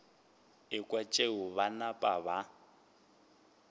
ekwa tšeo ba napa ba